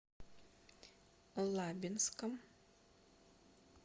лабинском